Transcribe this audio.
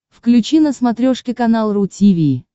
включи на смотрешке канал ру ти ви